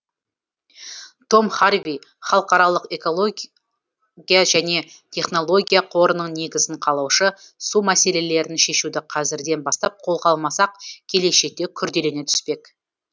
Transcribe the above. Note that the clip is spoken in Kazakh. том харви халықаралық экология және технология қорының негізін қалаушы су мәселелерін шешуді қазірден бастап қолға алмасақ келешекте күрделене түспек